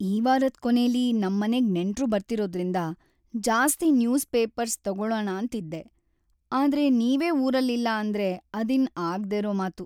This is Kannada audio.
ಈ ವಾರದ್‌ ಕೊನೇಲಿ ನಮ್ಮನೆಗ್‌ ನೆಂಟ್ರು ಬರ್ತಿರೋದ್ರಿಂದ ಜಾಸ್ತಿ ನ್ಯೂಸ್‌ ಪೇಪರ್ಸ್‌ ತಗೊಳಣಾಂತಿದ್ದೆ, ಆದ್ರೆ ನೀವೇ ಊರಲ್ಲಿಲ್ಲ ಅಂದ್ರೆ ಅದಿನ್ನು ಆಗ್ದೇರೋ ಮಾತು.